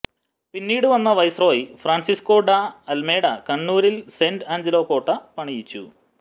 പിന്നീട് വന്ന viceroy Francisco de Almeida കണ്ണൂരിൽ സെന്റ് ആഞ്ജലോ കോട്ട പണിയിച്ചു